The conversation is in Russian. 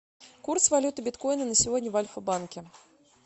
курс валюты биткоина на сегодня в альфа банке